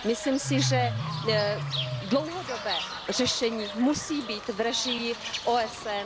Myslím si, že dlouhodobé řešení musí být v režii OSN.